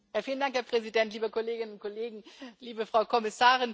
Herr Präsident, liebe Kolleginnen und Kollegen, liebe Frau Kommissarin!